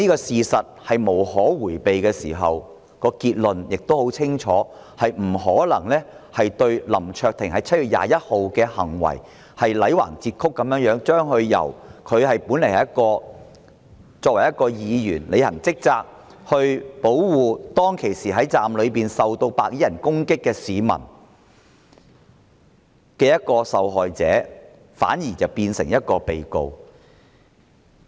事實無可迴避的時候，結論亦十分清楚，便是不可能基於林卓廷議員在7月21日的行為，強行將一名履行職責的議員，一名當時保護站內市民免受白衣人攻擊的受害者變成被告。